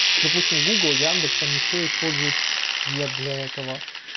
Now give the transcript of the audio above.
допустим гугл яндекс они все используют ген для этого